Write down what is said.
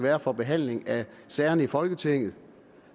er for behandling af sagerne i folketinget